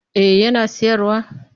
Eh yana sayarwa